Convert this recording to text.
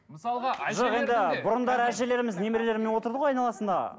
мысалға жоқ енді бұрындары әжелеріміз немерелерімен отырды ғой айналасында